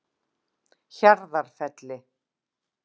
Hjarðarfelli